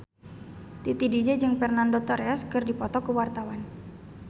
Titi DJ jeung Fernando Torres keur dipoto ku wartawan